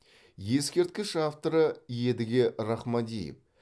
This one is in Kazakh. ескерткіш авторы едіге рахмадиев